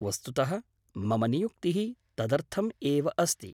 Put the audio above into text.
वस्तुतः मम नियुक्तिः तदर्थम् एव अस्ति।